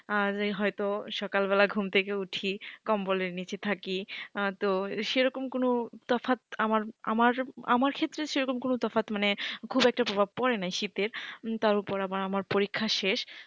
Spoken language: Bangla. আর হয়তো সকালবেলা ঘুম থেকে উঠি কম্বলের নিচে থাকি। তো সেরকম কোন তফাৎ আমার আমার আমার ক্ষেত্রে সেরকম কোন তফাৎ মানে খুব একটা প্রভাব পড়ে না শীতের, তার উপর আবার আমার পরীক্ষা শেষ।